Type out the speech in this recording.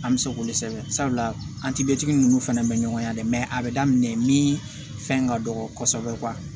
An bɛ se k'olu sɛbɛn sabula an tibɛtigi ninnu fana bɛ ɲɔgɔn na dɛ a bɛ daminɛ min fɛn ka dɔgɔ kosɛbɛ